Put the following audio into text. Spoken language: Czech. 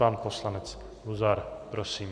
Pan poslanec Luzar, prosím.